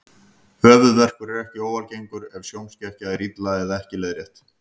Höfuðverkur er ekki óalgengur ef sjónskekkja er illa eða ekki leiðrétt.